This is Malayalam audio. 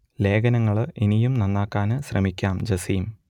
ലേഖനങ്ങൾ ഇനിയും നന്നാക്കാൻ ശ്രമിക്കാം ജസീം